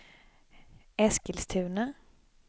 Eskilstuna